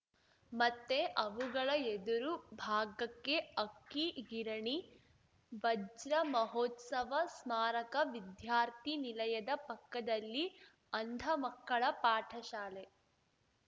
ಮತ್ತೆ ಅವುಗಳ ಎದುರು ಭಾಗಕ್ಕೆ ಅಕ್ಕಿ ಗಿರಣಿ ವಜ್ರಮಹೋತ್ಸವ ಸ್ಮಾರಕ ವಿದ್ಯಾರ್ಥಿ ನಿಲಯದ ಪಕ್ಕದಲ್ಲಿ ಅಂಧ ಮಕ್ಕಳ ಪಾಠಶಾಲೆ